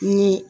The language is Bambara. Ni